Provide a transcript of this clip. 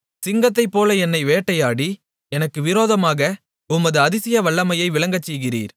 சிங்கத்தைப்போல என்னை வேட்டையாடி எனக்கு விரோதமாக உமது அதிசய வல்லமையை விளங்கச் செய்கிறீர்